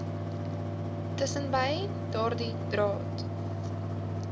tussenbei daardie draad